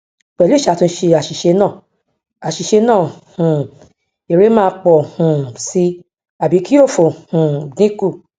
pẹ̀lú ìṣàtúnṣe àṣìṣe náà àṣìṣe náà um èrè máa pọ̀ um sí i àbí kí òfò um dínkù